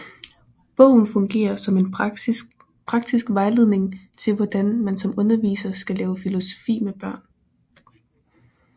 Bogen fungerer som en praktisk vejledning til hvordan man som underviser skal lave filosofi med børn